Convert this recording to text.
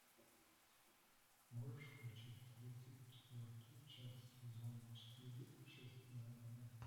можешь включить тридцать четвертую часть сезона четыре общественная мораль